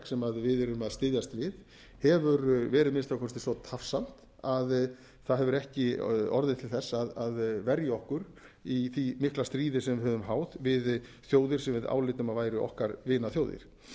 sem við erum að styðjast við hefur verið að minnsta kosti svo tafsamt að það hefur ekki orðið til þess að verja okkur í því mikla stríði sem við höfum háð við þjóðir sem við álitum að væru okkar vinaþjóðir samkvæmt